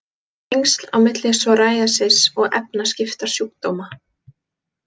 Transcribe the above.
Tengsl á milli psoriasis og efnaskiptasjúkdóma